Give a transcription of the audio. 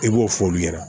I b'o f'olu ɲɛna